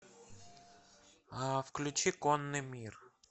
включи конный мир